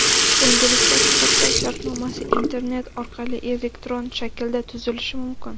endilikda sug‘urta shartnomasi internet orqali elektron shaklda tuzilishi mumkin.